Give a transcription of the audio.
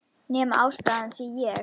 Nema ástæðan sé ég.